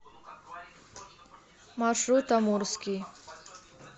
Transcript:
маршрут амурский